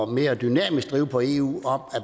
mere dynamisk drive på eu og om